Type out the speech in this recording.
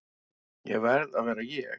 Ég verð að vera ég.